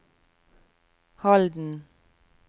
Halden